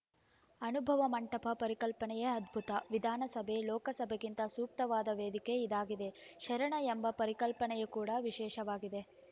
ಅನುಭವ ಮಂಟಪ ಪರಿಕಲ್ಪನೆಯೇ ಅದ್ಭುತ ವಿಧಾನಸಭೆ ಲೋಕಸಭೆಗಿಂತ ಸೂಕ್ತವಾದ ವೇದಿಕೆ ಇದಾಗಿದೆ ಶರಣ ಎಂಬ ಪರಿಕಲ್ಪನೆ ಕೂಡ ವಿಶೇಷವಾಗಿದೆ